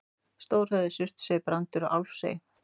Stórhöfði, Suðurey, Brandur og Álfsey.